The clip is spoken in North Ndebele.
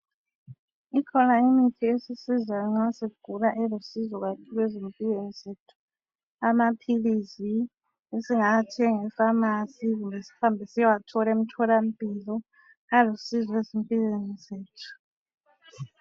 Ikhona imithi esisizayo nxa sigula elusizo ezimpilweni zethu amaphilisi esingawathenga e pharmacy kumbe zihambe siyewathola emtholampilo alusizo ezimpilweni zethu